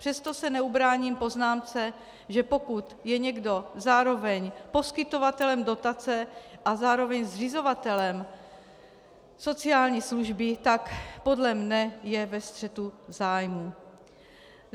Přesto se neubráním poznámce, že pokud je někdo zároveň poskytovatelem dotace a zároveň zřizovatelem sociální služby, tak podle mne je ve střetu zájmů.